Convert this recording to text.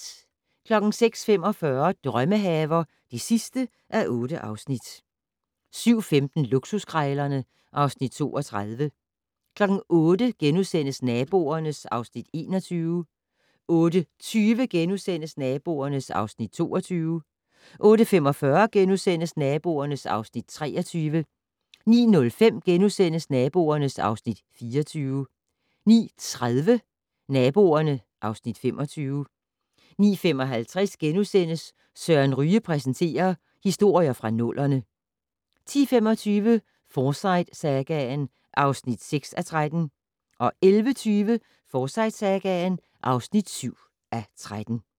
06:45: Drømmehaver (8:8) 07:15: Luksuskrejlerne (Afs. 32) 08:00: Naboerne (Afs. 21)* 08:20: Naboerne (Afs. 22)* 08:45: Naboerne (Afs. 23)* 09:05: Naboerne (Afs. 24)* 09:30: Naboerne (Afs. 25) 09:55: Søren Ryge præsenterer: Historier fra nullerne * 10:25: Forsyte-sagaen (6:13) 11:20: Forsyte-sagaen (7:13)